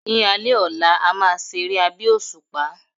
Ni alé ọlá, a máa se eré abẹ́ òṣùpá